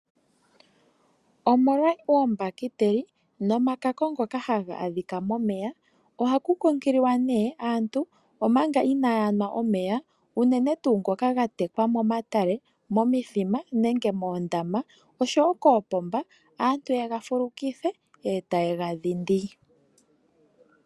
Omolwa oombakiteli, nomakako ngoka haga adhika omeya, ohaku kunkililwa nee aantu omanga inaa ya nwa omeya, unene tuu ngoka ga tekwa momatale, momithima nenge moondama, osho wo koopomba, aantu yega fulukithe, e ta ye ga dhindi.